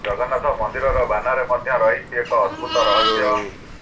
ଜଗନ୍ନାଥ ମନ୍ଦିରର ବାନାରେ ମଧ୍ୟ ରହିଛି ଏକ ଅଦ୍ଭୁତ ରହସ୍ୟ